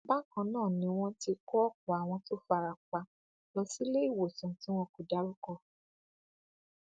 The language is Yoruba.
bákan náà ni wọn ti kó ọpọ àwọn tó fara pa lọ sí iléewòsàn tí wọn kò dárúkọ